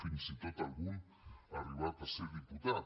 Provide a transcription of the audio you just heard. fins i tot algun ha arribat a ser diputat